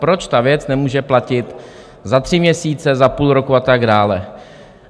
Proč ta věc nemůže platit za tři měsíce, za půl roku a tak dále?